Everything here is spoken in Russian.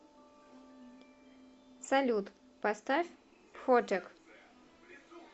салют поставь фотек